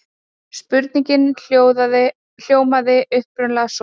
Spurningin hljómaði upprunalega svona: